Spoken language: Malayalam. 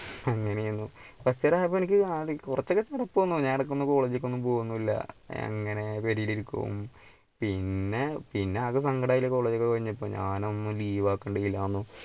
അങ്ങനെയായിരുന്നു കുറച്ചു നേരം ആയപ്പോ എനിക്ക് ആദി കുറച്ചൊ കുഴപ്പം ആരുന്നു ഞാൻ ഇടയ്ക്ക് ഒന്ന് college ലേക്ക് ഒന്നും പോകുന്നില്ല അങ്ങനെ വെളിയിലിരിക്കും പിന്നെ പിന്നെ ആകെ സങ്കടായി college ഒക്കെ കഴിഞ്ഞപ്പോൾ ഞാൻ അന്ന് leave ആകേണ്ടില്ലന്നു